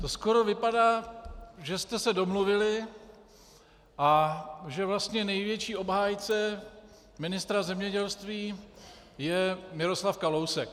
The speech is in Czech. To skoro vypadá, že jste se domluvili a že vlastně největší obhájce ministra zemědělství je Miroslav Kalousek.